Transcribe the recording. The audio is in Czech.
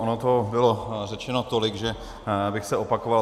Ono toho bylo řečeno tolik, že bych se opakoval.